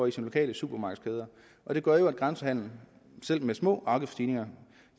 i de lokale supermarkedskæder og det gør jo at grænsehandelen selv med små afgiftsstigninger